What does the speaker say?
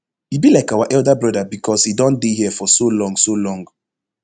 e be like our elder broda becos e don dey here for so long so long